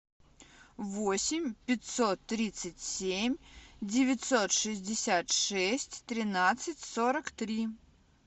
восемь пятьсот тридцать семь девятьсот шестьдесят шесть тринадцать сорок три